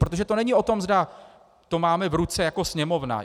Protože to není o tom, zda to máme v ruce jako Sněmovna.